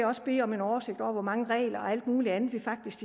også bede om en oversigt over hvor mange regler og alt muligt andet vi faktisk